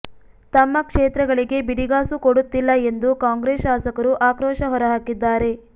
ತಮ್ಮ ಕ್ಷೇತ್ರಗಳಿಗೆ ಬಿಡಿಗಾಸೂ ಕೊಡುತ್ತಿಲ್ಲ ಎಂದು ಕಾಂಗ್ರೆಸ್ ಶಾಸಕರು ಆಕ್ರೋಶ ಹೊರಹಾಕಿದ್ದಾರೆ